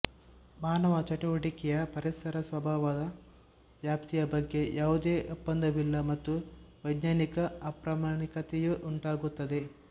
ಮಾನವ ಚಟುವಟಿಕೆಯ ಪರಿಸರ ಪ್ರಭಾವದ ವ್ಯಾಪ್ತಿಯ ಬಗ್ಗೆ ಯಾವುದೇ ಒಪ್ಪಂದವಿಲ್ಲ ಮತ್ತು ವೈಜ್ಞಾನಿಕ ಅಪ್ರಾಮಾಣಿಕತೆಯೂ ಉಂಟಾಗುತ್ತದೆ